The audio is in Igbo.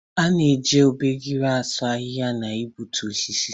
A na-eji obejiri asụ ohia na igbutu osisi.